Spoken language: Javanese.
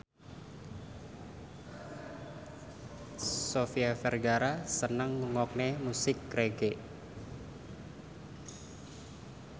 Sofia Vergara seneng ngrungokne musik reggae